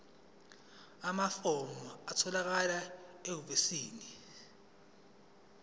amafomu atholakala ehhovisi